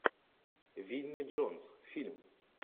винни джонс фильм